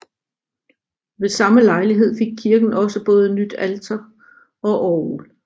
Ved samme lejlighed fik kirken også både nyt alter og orgel